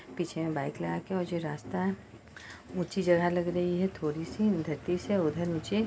पीछे बाइक लगा के और जो रास्ता है ऊंची जगह लग रही है थोड़ी-सी धरती से उधर नीचे--